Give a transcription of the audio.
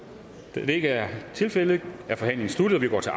da det ikke er tilfældet er forhandlingen sluttet og vi går til